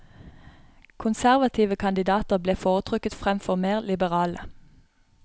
Konservative kandidater ble foretrukket fremfor mer liberale.